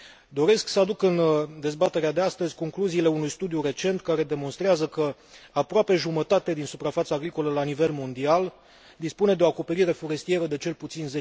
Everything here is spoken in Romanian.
Doresc să aduc în dezbaterea de astăzi concluziile unui studiu recent care demonstrează că aproape jumătate din suprafața agricolă la nivel mondial dispune de o acoperire forestieră de cel puțin